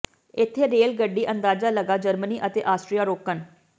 ਇੱਥੇ ਰੇਲ ਗੱਡੀ ਅੰਦਾਜ਼ਾ ਲਗਾ ਜਰਮਨੀ ਅਤੇ ਆਸਟਰੀਆ ਰੋਕਣ